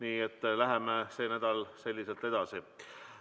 Aga läheme see nädal selliselt edasi.